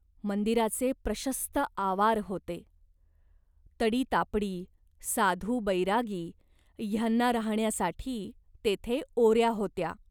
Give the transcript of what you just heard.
मंदिराचे प्रशस्त आवार होते. तडी तापडी, साधु बैरागी ह्यांना राहाण्यासाठी तेथे ओऱ्या होत्या.